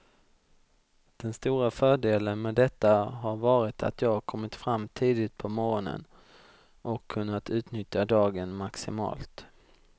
Den stora fördelen med detta har varit att jag kommit fram tidigt på morgonen och kunnat utnyttja dagen maximalt.